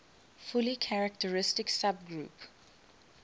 fully characteristic subgroup